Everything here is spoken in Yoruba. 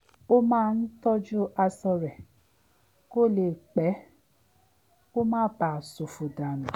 ó máa ń tọ́jú aṣọ rẹ̀ kó lè pẹ́ kó má bàa s̩òfò dànù